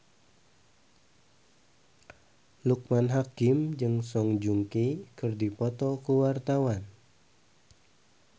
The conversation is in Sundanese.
Loekman Hakim jeung Song Joong Ki keur dipoto ku wartawan